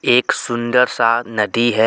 एक सुंदर सा नदी है.